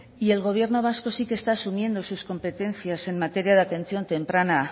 y el gobierno vasco sí que está asumiendo sus competencias en materia de atención temprana